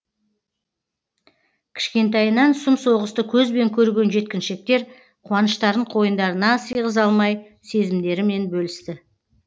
кішкентайынан сұм соғысты көзбен көрген жеткіншектер қуаныштарын қойындарына сыйғыза алмай сезімдерімен бөлісті